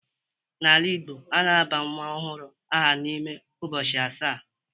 N'ala Igbo, a na-aba nwa ọhụrụ aha n'ime ụbọchị asaa